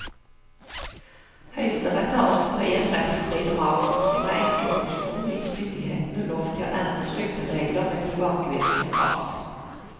Høyesterett har også i en rettsstrid om avkorting av enkepensjoner gitt myndighetene lov til å endre trygderegler med tilbakevirkende kraft.